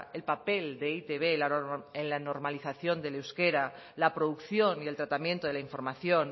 el papel de e i te be en la normalización del euskera la producción y el tratamiento de la información